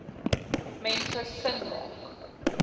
mense sin maak